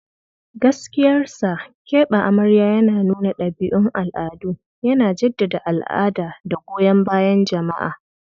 Gaskiyar sa, keɓe amarya yana nuna ɗabi'un al'adu, yana jaddada al'ada da goyon bayan jama'a.